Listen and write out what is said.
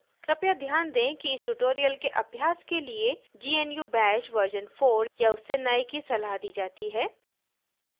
कृपया ध्यान दें कि इस tutorial के अभ्यास के लिए gnu bash version 4 या उससे नए की सलाह दी जाती है